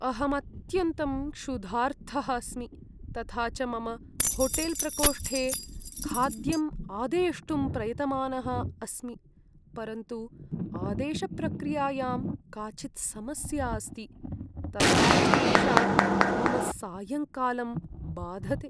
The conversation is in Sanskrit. अहम् अत्यन्तं क्षुधार्तः अस्मि, तथा च मम होटेल्प्रकोष्ठे खाद्यम् आदेष्टुं प्रयतमानः अस्मि, परन्तु आदेशप्रक्रियायां काचित् समस्या अस्ति, तथा च एषा मम सायङ्कालं बाधते।